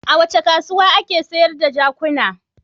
A wace kasuwa ake sayar da jakuna?